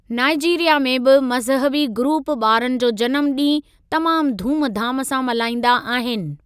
Nigeria में बि मज़हबी ग्रुप ॿारनि जो जनमु ॾींहुं तमाम धूमधाम सां मल्हाईंदा आहिनि।